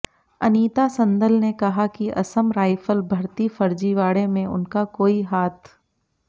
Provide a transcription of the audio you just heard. अनीता संदल ने कहा कि असम राईफल भर्ती फर्जीवाड़े में उनका कोई हाथ